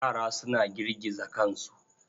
Yara suna girgiza kansu.